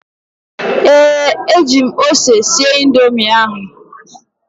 ee, eji m ose sie Indomi ahụ